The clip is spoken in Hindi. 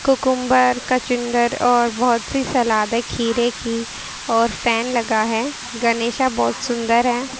कुकुमबर कंचुदर और बहुत सी सलाद है खीरे की और फैन लगा है गणेशा बहुत सुंदर हैं।